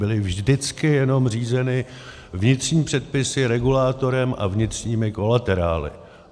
Byly vždycky jenom řízeny vnitřní předpisy, regulátorem a vnitřními kolaterály.